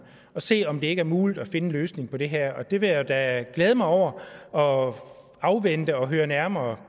og se om det ikke er muligt at finde en løsning på det her og det vil jeg da glæde mig over og afvente at høre nærmere